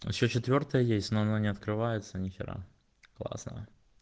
ещё четвёртая есть но она не открывается нихера классная